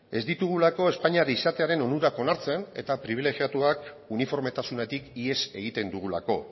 ez ditugulako espainiar izatearen onurak onartzen eta pribilegiatuak uniformetasunetik ihes egiten dugulako